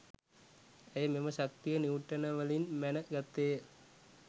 ඇය මෙම ශක්තිය නිව්ටනවලින් මැන ගත්තේය